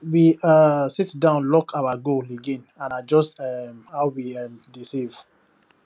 we um sit down look our goal again and adjust um how we um dey save